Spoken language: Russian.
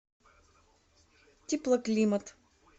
теплоклимат